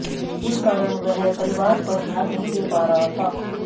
इस कारण वह परिवार पर ध्यान नहीं दे पा रहा था